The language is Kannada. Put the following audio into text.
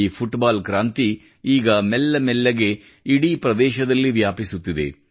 ಈ ಫುಟ್ಬಾಲ್ ಕ್ರಾಂತಿ ಈಗ ಮೆಲ್ಲ ಮೆಲ್ಲಗೆ ಇಡೀ ಪ್ರದೇಶದಲ್ಲಿ ವ್ಯಾಪಿಸುತ್ತಿದೆ